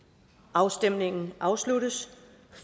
afstemningen afsluttes